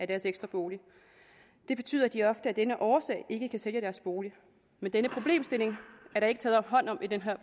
deres ekstra bolig og det betyder at de ofte af denne årsag ikke kan sælge deres bolig men den problemstilling er der ikke taget hånd om i det her